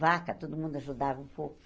Vaca, todo mundo ajudava um pouco.